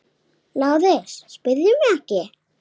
LÁRUS: Spyrðu mig ekki!